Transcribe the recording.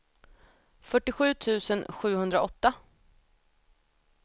fyrtiosju tusen sjuhundraåtta